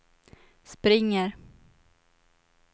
springer